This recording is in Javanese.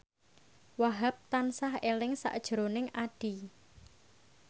Wahhab tansah eling sakjroning Addie